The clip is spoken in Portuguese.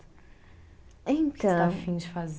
Então. O que você está afim de fazer?